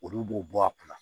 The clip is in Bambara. Olu b'o bɔ a kunna